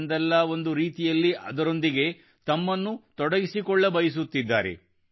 ಒಂದಲ್ಲ ಒಂದು ರೀತಿ ಅದರೊಂದಿಗೆ ತನ್ನನ್ನು ತೊಡಗಿಸಿಕೊಳ್ಳಬಯಸುತ್ತಿದ್ದಾರೆ